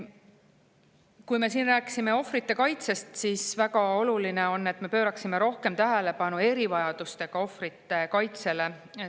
Kui me rääkisime siin ohvrite kaitsest, siis väga oluline on, et me pööraksime rohkem tähelepanu erivajadustega ohvrite kaitsele.